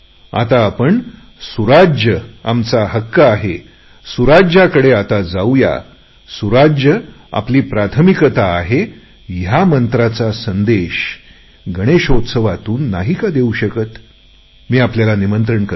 आता आपण सुराज आमचा हक्क आहे सुराजाच्या दिशेने वाटचाल करुया सुराजाला आमचे प्राधान्य आहे या मंत्राचा संदेश आपण सार्वजनिक गणेश उत्सवातून नाही देऊ शकत का मी आपल्याला निमंत्रण करत आहे